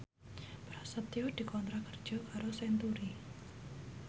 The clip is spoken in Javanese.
Prasetyo dikontrak kerja karo Century